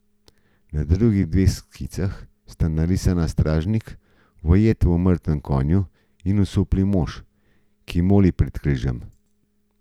Na drugih dveh skicah sta narisana stražnik, ujet v mrtvem konju, in osupli mož, ki moli pred križem.